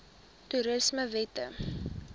toerismewette